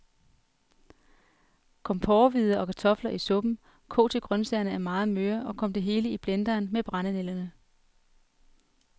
Kom porrehvider og kartofler i suppen, kog til grøntsagerne er meget møre, og kom det hele i blenderen med brændenælderne.